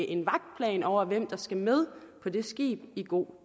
en vagtplan over hvem der skal med på det skib i god